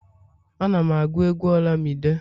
Ana'm agụ egwu olamide